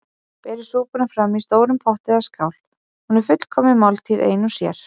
Berið súpuna fram í stórum potti eða skál- hún er fullkomin máltíð ein og sér.